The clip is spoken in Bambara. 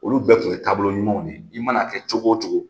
Olu bɛɛ tun ye taabolo ɲumanw de ye i man'a kɛ cogo o cogo.